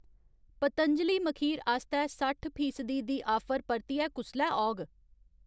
पतंजलि मखीर आस्तै सट्ठ फीसदी दी आफर परतियै कुसलै औग?